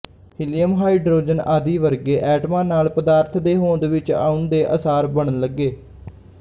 helium hydrogen ਆਦਿ ਵਰਗੇ ਐਟਮਾਂ ਨਾਲ ਪਦਾਰਥ ਦੇ ਹੋਂਦ ਵਿੱਚ ਆਉਣ ਦੇ ਆਸਾਰ ਬਣਨ ਲੱਗੇ